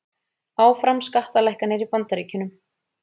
Áfram skattalækkanir í Bandaríkjunum